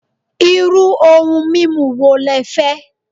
Iru oun mimu wo lẹ fẹ́?